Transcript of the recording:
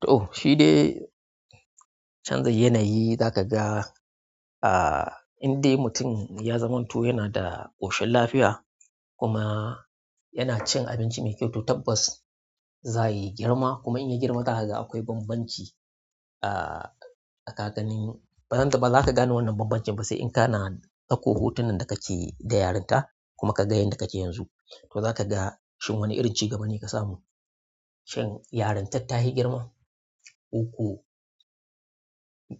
To shi de canza yanayi za ka ga ah inda mutum ya zamanto yana da ƙoshin lafiya kuma yana cin abinci mai kyau to tabbas za yi girma kuma in ya girma daga akwai bambanci ah a kakannin. Ba zanta ba za ka gane wannan bambancin ba sai in ka na ɗakko hotunan da kake da yarinta kuma ka ga yanda kake yanzu. To za ka ga shin wani irin cigaba ne ka samu, shin yarintar ta hi girma ko ko